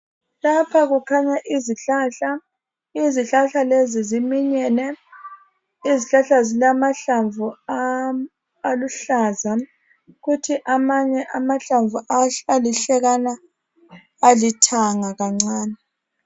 Lapha kukhanya izihlahla izihlahla lezi ziminyene izihlahla zilamahlamvu aluhlaza kuthi amanye amahlamvu alihlekana alithanga kancane.